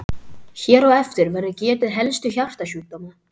Hér á eftir verður getið helstu hjartasjúkdóma.